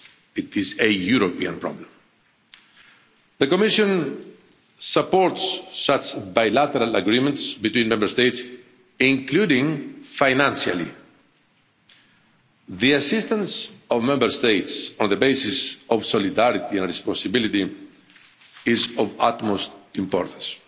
It is a European problem. The Commission supports such bilateral agreements between Member States, including financially. The assistance of Member States, on the basis of solidarity and responsibility, is of utmost importance.